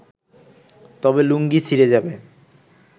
তবে লুঙ্গি ছিঁড়ে যাবে